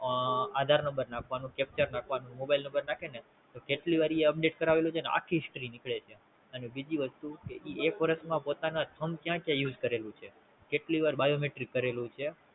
આધાર Number નાખવાનું Captcha નાખવાનું Mobile number નાખે ને તો કેટલી વાર ઈ Update કરાવેલું છે ને આખ્ખી History નીકળે છે અને બીજી વસ્તુ ઈ એક વરસ માં પોતાનું Thumb ક્યાં ક્યાં Use કરેલું છે કેટલી વાર Biometrics કરેલું છે